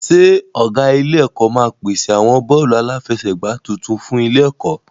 Ṣé ọ̀gá ilé-ẹ̀kọ́ máa pèsè àwọn bọ́ọ̀lù aláfẹsẹ̀gbá tuntun fún ilé-ẹ̀kọ́?